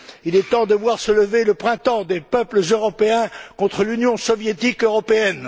Il est temps de voir se lever le printemps des peuples européens contre l'Union soviétique européenne!